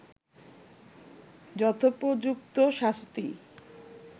যথোপযুক্ত শাস্তি